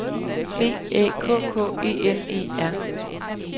B Æ K K E N E R